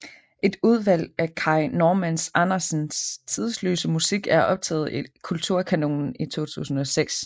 Et udvalg af Kai Normann Andersens tidløse musik er optaget i Kulturkanonen i 2006